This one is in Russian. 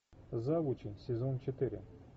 завучи сезон четыре